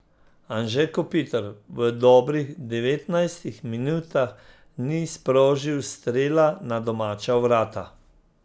Anže Kopitar v dobrih devetnajstih minutah ni sprožil strela na domača vrata.